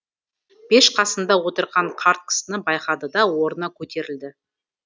пеш қасында отырған қарт кісіні байқады да орнынан көтерілді